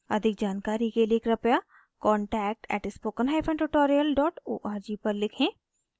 अधिक जानकारी के लिए कृपया contact at spoken hyphen tutorial dot org पर लिखें